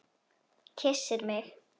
Kyssir mig.